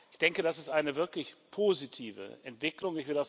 Ich denke, das ist eine wirklich positive Entwicklung.